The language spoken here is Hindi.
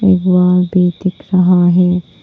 वह भी दिख रहा है।